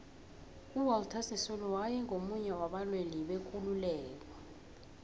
uwalter sisulu waye ngumunye waba lwelibekululeko